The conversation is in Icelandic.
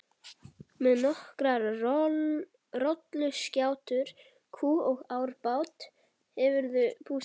Með nokkrar rolluskjátur, kú og árabát hefurðu búskap.